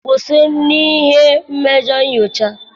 kwụsị n'ihe mmejọ nyocha.